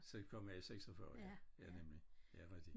Så kom jeg i 46 ja ja nemlig ja rigtigt